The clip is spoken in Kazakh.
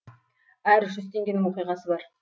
әр жүз теңгенің оқиғасы бар